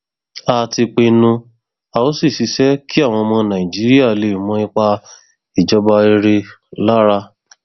a ti pinnu a ó sì ṣiṣẹ kí àwọn ọmọ nàìjíríà lè mọ ipa ìjọba rere lára